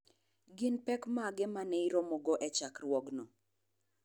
Gin pek mage ma ne iromogo e chokruogno?